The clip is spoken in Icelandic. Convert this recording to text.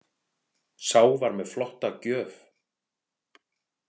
Sá var með flotta gjöf.